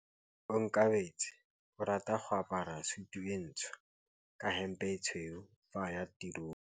Onkabetse o rata go apara sutu e ntsho ka hempe e tshweu fa a ya tirong.